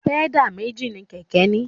Pẹ́dà méjì mi kẹ̀kẹ́ ní.